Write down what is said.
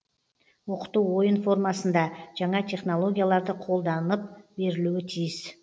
оқыту ойын формасында жаңа технологияларды қолданып берілуі тиіс